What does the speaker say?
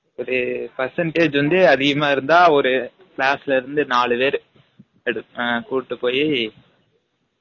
ஒரு percentage வந்து அதிகமா இருந்தா ஒரு class ல இருந்து நாலு பேர் எடு குட்டு போயி